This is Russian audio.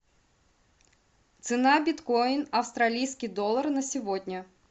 цена биткоин австралийский доллар на сегодня